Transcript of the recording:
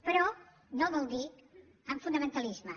però no vol dir amb fonamentalisme